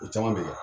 O caman bɛ kɛ